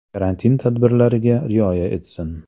Karantin tadbirlariga rioya etsin.